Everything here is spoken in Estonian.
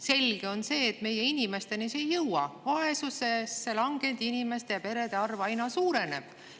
Selge on see, et meie inimesteni see ei jõua, sest vaesusesse langenud inimeste ja perede arv aina suureneb.